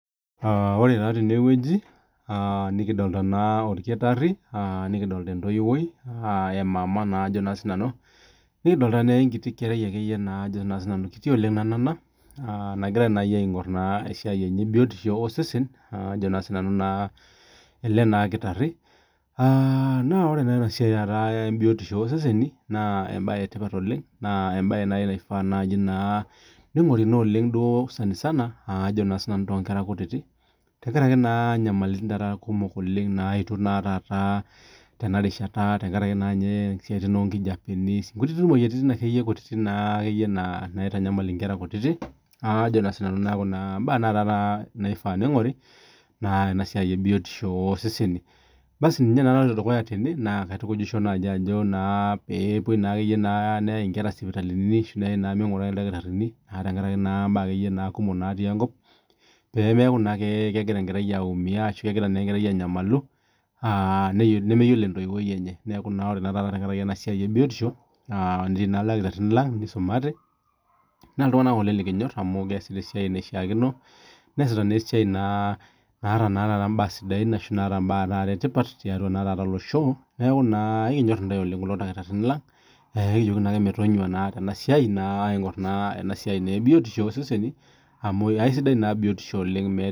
Ore taa teneweji, nadolita naa olkitari, nikidolita entoiwoi emama naa ajo si nanu, nikidolita naa enkiti kerai ake iye naa ajo sii nanu enanaa nagirai nai aing'or naa esiai enye ebiotisho osesen ajo naa sii nanu naa ale naa lkitari, naa ore esiai taata ebiotisho oseseni naa embaye etipat oleng, naa embaye nai naifaa naa neing'oruni oleng duo osesen isana ajo naa si nanu too inkera kutiti, tengaraki naa inyamaliritin taata kumok oleng naetio naa taata tenarishata tengaraki naa ninye esiaitin onkijapeni nkutiti tokitin ake iyie kutiti naa ake iyie naitanyamal inkera kutiti ajo naa si nanu kuna imbaa naa taata neifaa neing'ori naa enasiai ebiotisho oseseni. Basi ninye naa naloto dukuya tene naa kaitukujisho nai ajo naa peepoi naake neyai inkera sipitalini ashu naa meing'urai ildakitarini naa tengaraki naa imbaa ake iyie kumok natii enkop, pemeaku naake kegira enkerai ake iyie aukiya ashu egira ake iye aumiaru, nemeyiolo entoiwoi enye, neaku naa ore naa taata tengaraki ebiotisho naas ildakitarini lang neisumate ,naa iltungana ng'ole likinyorr amu meas naa esiai naishaakino, neasita naa esia naata naa taata imbaa sidain ashu naata imbaa taata etipat tiatua naa atua losho naaku naa ekinyorr ntae oleng ilkitarini lang, nikijoki naake metonyua naake tengaraki esiai naake aing'or naa ena siai naa ebiotisho osesen amu esidai naa biotisho oleng.